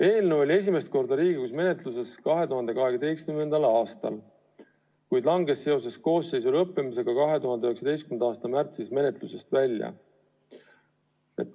Eelnõu oli esimest korda Riigikogus menetluses 2018. aastal, kuid langes seoses koosseisu ametiaja lõppemisega 2019. aasta märtsis menetlusest välja.